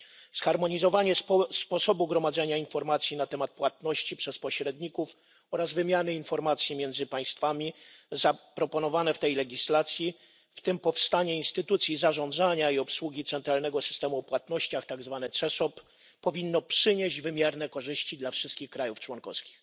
Zharmonizowanie sposobu gromadzenia informacji na temat płatności przez pośredników oraz wymiany informacji między państwami zaproponowane w tej legislacji, w tym powstanie instytucji zarządzania i obsługi centralnego systemu o płatnościach czyli tzw. CESOP, powinno przynieść wymierne korzyści wszystkim krajom członkowskim.